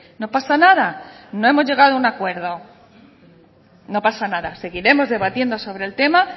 no pasa nada no hemos llegado a un acuerdo no pasa nada seguiremos debatiendo sobre el tema